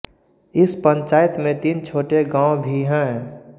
इस पंचायत में तीन छोटे गांव भी हैं